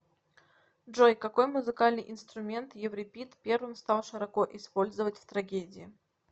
джой какой музыкальный инструмент еврипид первым стал широко использовать в трагедии